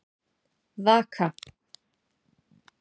Vaka